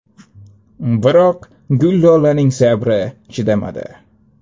Biroq Gullolaning sabri chidamadi.